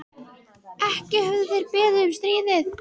Ekki höfðu þeir beðið um stríðið.